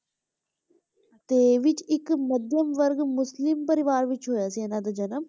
ਤੇ ਵਿੱਚ ਇੱਕ ਮਧਿਅਮ ਵਰਗ ਮੁਸਲਿਮ ਪਰਿਵਾਰ ਵਿੱਚ ਹੋਇਆ ਸੀ ਇਹਨਾਂ ਦਾ ਜਨਮ,